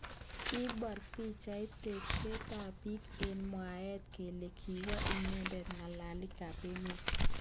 Kibor pichait takset ab bik eng mwaet kele kiwek inendet ngalalik ab emet.